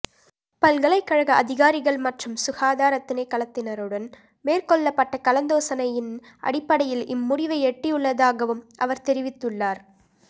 பல்கலைக்கழக அதிகாரிகள் மற்றும் சுகாதார திணைக்களத்தினருடன் மேற்கொள்ளப்பட்ட கலந்தாலோசினையின் அடிப்படையில் இம்முடிவை எட்டியுள்ளதாகவும் அவர் தெரிவித்துள்ளார்